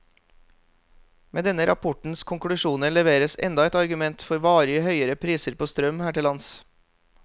Med denne rapportens konklusjoner leveres enda et argument for varig høyere priser på strøm her til lands.